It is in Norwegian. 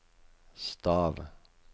stav